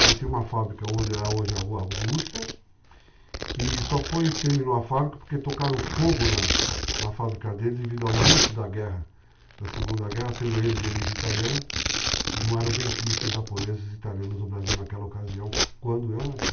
Ele tinha uma fábrica onde hoje é a Rua Augusta e só terminou a fábrica porque tocaram fogo na fábrica dele devido ao início da guerra, da segunda guerra, sendo ele de origem italiana e não eram benquistos japoneses e italianos no Brasil naquela ocasião quando eu nasci.